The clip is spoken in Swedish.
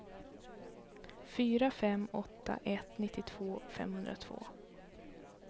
fyra fem åtta ett nittiotvå femhundratvå